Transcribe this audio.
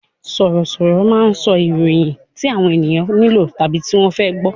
Sọ̀rọ̀ sọ̀rọ̀ máa ń sọ ìròyìn tí àwọn ènìyàn nílò tàbí tí wọ́n fẹ́ gbọ